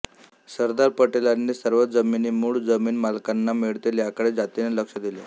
सरदार पटेलांनी सर्व जमिनी मूळ जमीन मालकांना मिळतील याकडे जातीने लक्ष दिले